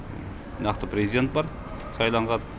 нақты президент бар сайланған